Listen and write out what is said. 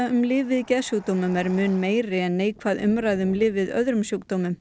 um lyf við geðsjúkdómum er mun meiri en neikvæð umræða um lyf við öðrum sjúkdómum